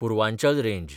Purvanchal range